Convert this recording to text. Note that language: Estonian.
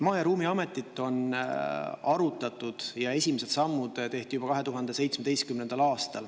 Maa- ja Ruumiameti loomist on arutatud ja esimesed sammud tehti juba 2017. aastal.